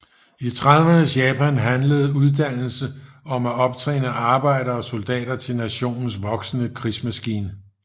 I tredivernes Japan handlede uddannelse om at optræne arbejdere og soldater til nationens voksende krigsmaskine